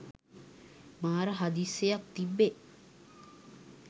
මාර හදිස්සියක් තිබ්බේ